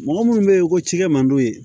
Mɔgɔ munnu be yen ko cikɛ man d'u ye